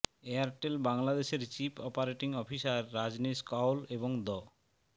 Airtel বাংলাদেশের chief operating officer Rajneesh Kaul এবং the